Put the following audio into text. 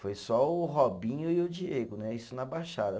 Foi só o Robinho e o Diego né, isso na baixada.